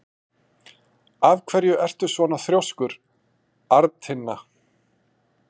Af hverju ertu svona þrjóskur, Arntinna?